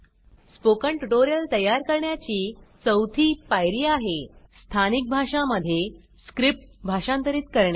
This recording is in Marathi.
स्पोकन ट्यूटोरियल त्यार करण्याची चौथी पायरी आहे स्थानिक भाषा मध्ये स्क्रिप्ट भाषांतरित करणे